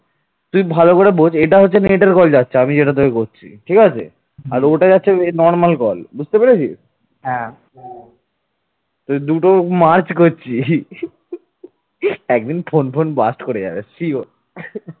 দুটো merge করছি, একদিন phone phone blast ব্লাস্ট করে যাবে sure